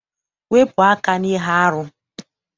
Wepụ aka n'ihe arụ!